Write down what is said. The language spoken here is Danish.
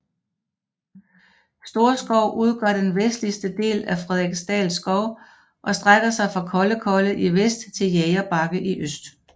Storskov udgør den vestligste del af Frederiksdal Skov og strækker sig fra Kollekolle i vest til Jægerbakke i øst